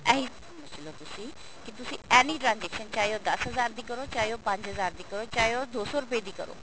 ਇਹੀ ਸਮਝਲੋ ਤੁਸੀਂ ਕਿ ਤੁਸੀਂ any transaction ਚਾਹੇ ਉਹ ਦਸ ਹਜ਼ਾਰ ਦੀ ਕਰੋ ਚਾਹੇ ਉਹ ਪੰਜ ਹਜ਼ਾਰ ਦੀ ਕਰੋ ਚਾਹੇ ਉਹ ਦੋ ਸੋ ਰੁਪਏ ਦੀ ਕਰੋ